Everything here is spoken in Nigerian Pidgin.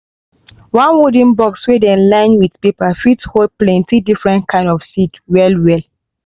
one wooden box wey dem line with paper fit hold plenti different kind seed well-well.